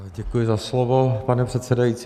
Děkuji za slovo, pane předsedající.